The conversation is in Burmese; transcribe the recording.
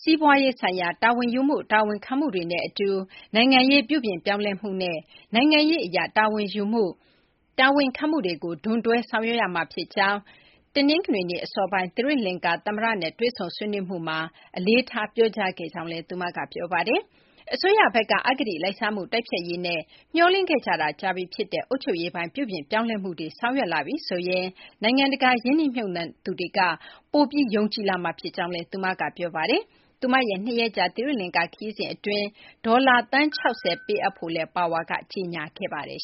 စီးပွားရေး ဆိုင်ရာ တာဝန်ယူမှု တာဝန်ခံမှုတွေနဲ့ အတူ နိုင်ငံရေး ပြုပြင်ပြောင်းလဲမှုနဲ့ နိုင်ငံရေး အရ တာဝန်ယူမှု တာဝန်ခံမှုကို ဒွန်တွဲ ဆောင်ရွက်ရမှာ ဖြစ်ကြောင်း ဒီကနေ့ အစောပိုင်း သီရိလကာၤ သမ္မတနဲ့ တွေ့ဆုံဆွေးနွေးမှုမှာ အလေးထား ပြောကြားခဲ့ကြောင်းလည်း သူမက ပြောပါတယ်။ အစိုးရဘက်က အဂတိ လိုက်စားမှု တိုက်ဖျက်ရေးနဲ့ မျှော်လင့်ခဲ့ကြတာ ကြာပြီ ဖြစ်တဲ့ အုပ်ချုပ်ရေးပိုင်း ပြုပြင်ပြောင်းလဲမှုတွေ ဆောင်ရွက်လာပြီ ဆိုရင် နိုင်ငံတကာ ရင်းနှီးမြှုပ်နှံသူတွေက ပိုပြီး ယုံကြည်လာမှာ ဖြစ်ကြောင်းလည်း သူမက ပြောပါတယ်။ သူမရဲ့ ၂ ရက်ကြာ သီရိလကာၤ ခရီးစဉ် အတွင်း ဒေါ်လာ သန်း ၆၀ ပေးအပ်ဖို့ Power က ကြေညာခဲ့ပါတယ်